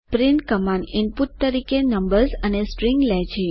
print command input તરીકે numbers અને string લે છે